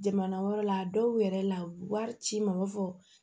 Jamana wɛrɛ la a dɔw yɛrɛ la u wari ci n ma u b'a fɔ